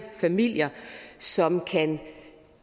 familier som kan